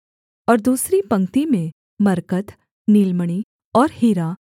और दूसरी पंक्ति में मरकत नीलमणि और हीरा